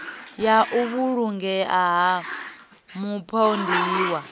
ya u vhulungea ha mupondiwa